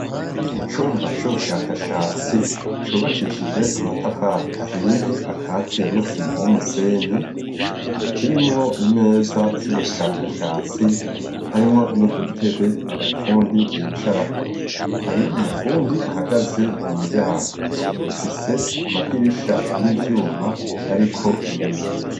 Mu cumba c'ubushakashatsi cubakishije amatafari ahiye akatiye n'isima n'umusenyi, kirimwo imeza z'ubushakashatsi harimwo n'udutebe abafundi bicarako, hari umufundi ahagaze mu muryango, ifise amadirisha y'ivyuma ariko ibiyo.